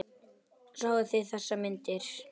Sáuð þið þessar myndir?